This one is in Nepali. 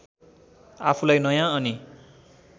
आफूलाई नयाँ अनि